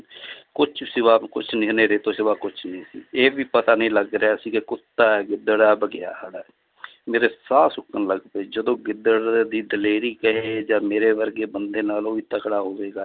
ਕੁਛ ਸਿਵਾ ਕੁਛ ਨੀ ਹਨੇਰੇ ਤੋਂ ਸਿਵਾ ਕੁਛ ਨੀ ਸੀ ਇਹ ਵੀ ਪਤਾ ਨਹੀਂ ਲੱਗ ਰਿਹਾ ਸੀ ਕਿ ਕੁੱਤਾ ਹੈ, ਗਿੱਦੜ ਹੈ, ਬਘਿਆੜ ਹੈ ਮੇਰੇ ਸਾਹ ਸੁੱਕਣ ਲੱਗ ਪਏ ਜਦੋਂ ਗਿੱਦੜ ਦੀ ਦਲੇਰੀ ਕਹੇ ਜਾਂ ਮੇਰੇ ਵਰਗੇ ਬੰਦੇ ਨਾਲੋਂ ਵੀ ਤਕੜਾ ਹੋਵੇਗਾ l